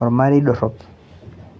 olmarei dorop